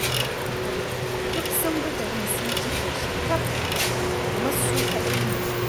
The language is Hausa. Duk sun bi garin sun cike shi taf, kamar su kaɗai ne.